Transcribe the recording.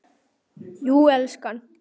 Jú, elskan.